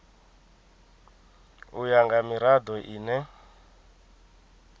u ya nga mirado ine